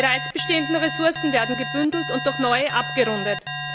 Die bereits bestehenden Ressourcen werden gebündelt und durch neue abgerundet.